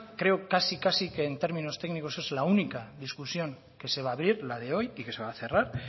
creo casi que en términos técnicos es la única discusión que se va a abrir la de hoy y que se va a cerrar